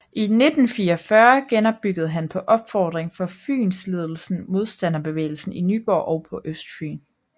I 1944 genopbyggede han på opfordring fra Fynsledelsen modstandsbevægelsen i Nyborg og på Østfyn